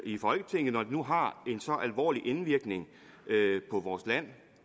i folketinget når de nu har en så alvorlig indvirkning på vores land